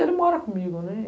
Ele mora comigo, né.